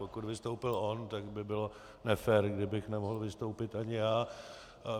Pokud vystoupil on, tak by bylo nefér, kdybych nemohl vystoupit i já.